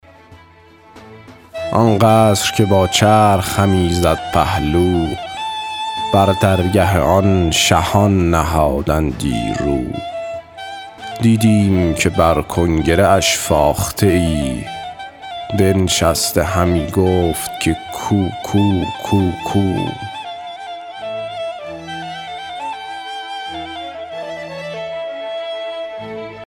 آن قصر که با چرخ همی زد پهلو بر درگه آن شهان نهادندی رو دیدیم که بر کنگره اش فاخته ای بنشسته همی گفت که کوکو کوکو